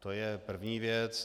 To je první věc.